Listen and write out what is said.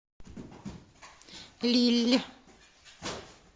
лилль